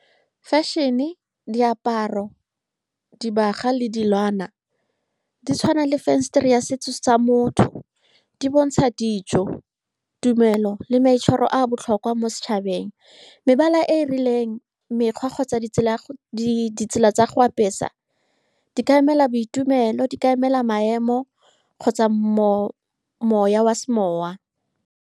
Fashion-ne, diaparo, dibaga le dilwana di tshwana le fensetere ya setso sa motho. Di bontsha dijo, tumelo le maitshwaro a a botlhokwa mo setšhabeng. Mebala e e rileng, mekgwa kgotsa ditsela tsa go apesa di ka emela boitumelo, di ka emela maemo kgotsa moya wa semoya.